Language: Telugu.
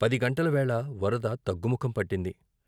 పది గంటల వేళ వరద తగ్గుముఖం పట్టింది.